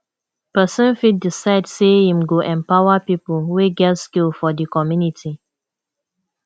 persin fit decide say im go empower pipo wey get skill for di community